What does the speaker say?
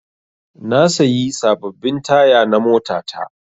Na sayi sababbin taya na mota ta